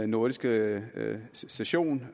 nordiske session